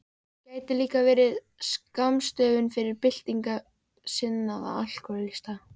Gæti líka verið skammstöfun fyrir Byltingarsinnaða alkóhólista.